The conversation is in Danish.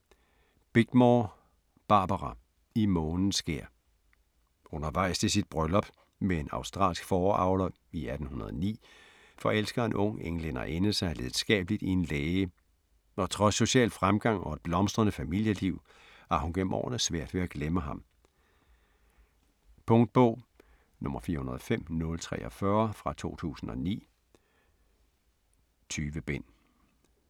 Bickmore, Barbara: I månens skær Undervejs til sit bryllup med en australsk fåreavler i 1809 forelsker en ung englænderinde sig lidenskabeligt i en læge, og trods social fremgang og et blomstrende familieliv har hun gennem årene svært ved at glemme ham. Punktbog 405043 2009. 20 bind.